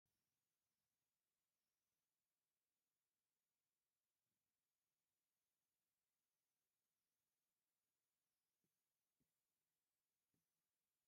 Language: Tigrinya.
ኣብ ተፈጥራአዊ እምኒ ማይ ዓቂሩ እሎ እብ ዝርይኡ ድማ ኣትክልቲ ኣለዉ ። እቲ እምኒ ብ ምንታይ ሜላ ተፈልፊሉ ኣሎ ?